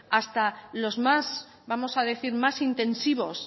hasta los más vamos a decir más intensivos